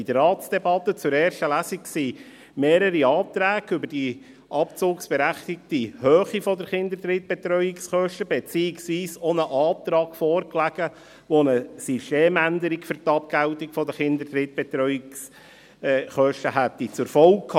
In der Ratsdebatte zur ersten Lesung lagen mehrere Anträge über die abzugsberechtigte Höhe der Kinderdrittbetreuungskosten vor beziehungsweise auch ein Antrag, der eine Systemänderung für die Abgeltung der Kinderdrittbetreuungskosten zur Folge gehabt hätte.